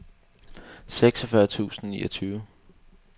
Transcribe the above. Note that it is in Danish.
seksogfyrre tusind og niogtyve